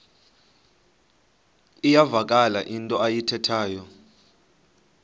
iyavakala into ayithethayo